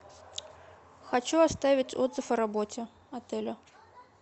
хочу оставить отзыв о работе отеля